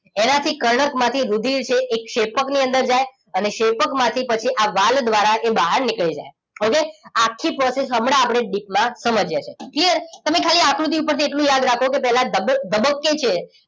એના થી કર્ણક માંથી રુધિર છે એ ક્ષેપ્કની અંદર જાય અને ક્ષેપ્કમાંથી પછી આ વાલ્વ દ્રારા એ બહાર નીકળી જાય હવે આખી પ્રોસેસ હમણાં આપણે ડીપ માં સમજી યા છે ક્લિયર તમે ખાલી આકૃતિ પર થી એટલું યાદ રાખો કે પેલા ધબક ધબકે છે